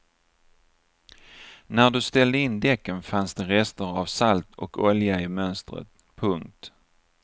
När du ställde in däcken fanns det rester av salt och olja i mönstret. punkt